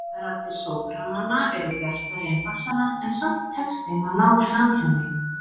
Raddir sóprananna eru bjartari en bassanna en samt tekst þeim að ná samhljómi.